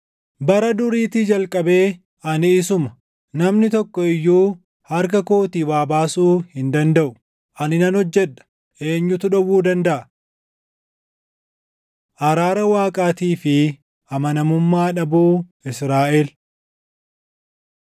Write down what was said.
“Bara duriitii jalqabee ani isuma. Namni tokko iyyuu harka kootii waa baasuu hin dandaʼu. Ani nan hojjedha; eenyutu dhowwuu dandaʼa?” Araara Waaqaatii fi Amanamummaa Dhabuu Israaʼel